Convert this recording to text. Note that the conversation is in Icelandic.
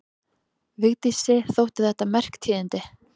Vigdísi þóttu þetta merk tíðindi.